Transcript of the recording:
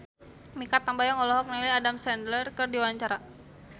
Mikha Tambayong olohok ningali Adam Sandler keur diwawancara